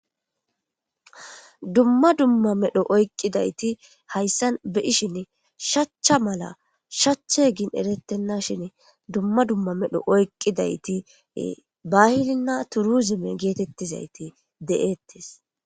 Dumma dumma medho oyqqidayti hayssan beyishin shachcha mala shache gin erettenna shin dumma dumma medho oyqqidayti bahilinna turuzime geetettizayti de'ettes.